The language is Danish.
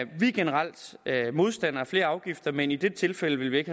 generelt modstandere af flere afgifter men i dette tilfælde vil vi ikke